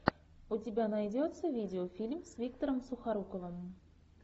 у тебя найдется видеофильм с виктором сухоруковым